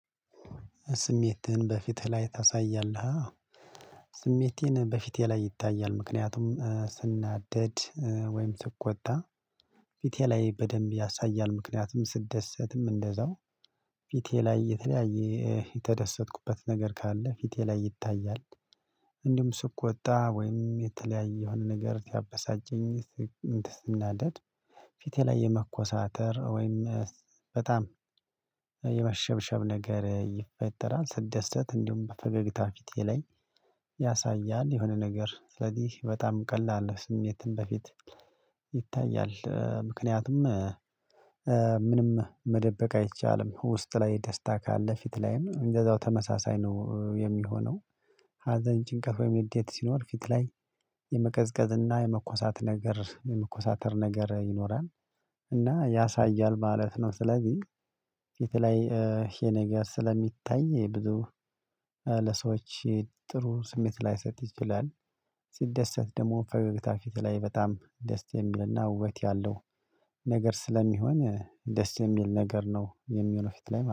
ስሜትህን በፊትህ ላይ ታሳያለህ? አዎ ስሜቴን በፊቴ ላይ ይታያል ምክንያቱም ስናደድ ወይም ስኮታ ፊቴ ላይ በደንብ ያሳያል ምክንያቱም ስደሰትም እንደዛው ፊቴ ላይ የተለያየ የተደሰትኩበት ነገር ካለ ፊቴ ላይ ይታያል እንዲሁም ስቆጣ ወይም የተለያየ የሆነ ነገር ሲያበሳጨኝ ስናደድ ፊቴ ላይ የመኮሳተር ወይም በጣም የመሸብሸብ ነገር ይፈጠራል ስደሰት እንዲሁም በፈገግታ ፊቴ ላይ ያሳያል የሆነ ነገር ስለዚህ በጣም ቀላል ነው ስሜትን በፊት ይታያል ምክንያቱም ምንም መደበቅ አይቻልም ውስጥ ላይ ደስታ ካለ ፊት ላይም እንደዛው ተመሳሳይ ነው የሚሆነው ሀዘን ጭንቀት ወይም ንዴት ሲኖር ፊት ላይ የመቀዝቀዝና የመኮሳት ነገር የመኮሳተር ነገር ይኖራል እና ያሳያል ማለት ነው ስለዚህ የተለያየ ነገር ስለሚታይ ብዙ ለሰዎች ጥሩ ስሜት ላይሰጥ ይችላል ሲደሰት ደግሞ ፈገግታ ፊት ላይ በጣም ደስ የሚልና ውበት ያለው ነገር ስለሚሆን ደስ የሚል ነገር ነው የሚሆነው ፊት ላይ